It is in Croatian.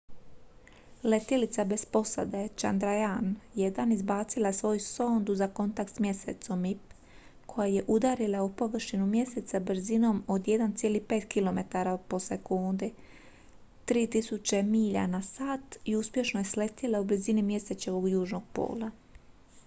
letjelica bez posade chandrayaan-1 izbacila je svoju sondu za kontakt s mjesecom mip koja je udarila u površinu mjeseca brzinom od 1,5 km/s 3000 milja na sat i uspješno je sletjela u blizini mjesečevog južnog pola